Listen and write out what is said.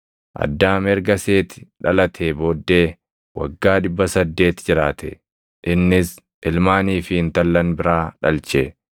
Addaam erga Seeti dhalatee booddee waggaa 800 jiraate; innis ilmaanii fi intallan biraa dhalche.